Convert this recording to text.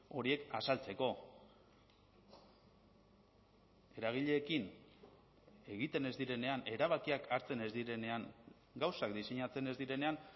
horiek azaltzeko eragileekin egiten ez direnean erabakiak hartzen ez direnean gauzak diseinatzen ez direnean